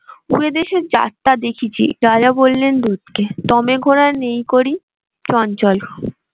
বিদেশে যাত্রা দেখেছি রাজা বললেন দূত কে। ঘোড়া নেই করি